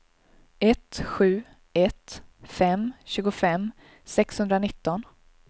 ett sju ett fem tjugofem sexhundranitton